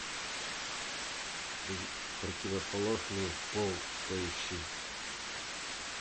противоположный пол поищи